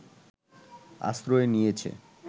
আশ্রয় নিয়েছে